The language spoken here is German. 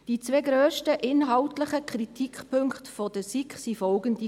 Die zwei grössten inhaltlichen Kritikpunkte der SiK waren folgende: